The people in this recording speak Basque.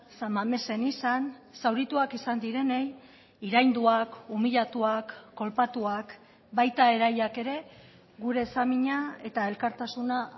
san mamesen izan zaurituak izan direnei irainduak humillatuak kolpatuak baita erailak ere gure samina eta elkartasuna